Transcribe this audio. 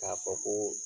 K'a fɔ ko